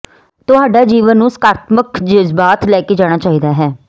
ਤੁਹਾਡਾ ਜੀਵਨ ਨੂੰ ਸਕਾਰਾਤਮਕ ਜਜ਼ਬਾਤ ਲੈ ਕੇ ਜਾਣਾ ਚਾਹੀਦਾ ਹੈ